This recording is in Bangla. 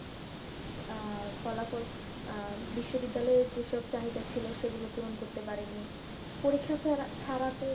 আহ ফলাফল আহ বিশ্ববিদ্যালয়ে যে সব চাহিদা ছিল সেগুলো পূরণ করতে পারেনি, পরীক্ষা ছাড়া তো